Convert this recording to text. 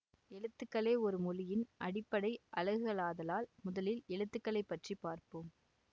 எழுத்துக்களே ஒரு மொழியின் அடிப்படை அலகுகளாதலால் முதலில் எழுத்துக்களை பற்றி பார்ப்போம்